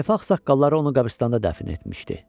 Tayfa ağsaqqalları onu qəbiristanlıqda dəfn etmişdi.